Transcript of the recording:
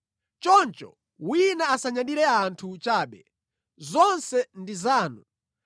Choncho, wina asanyadire anthu chabe! Zonse ndi zanu,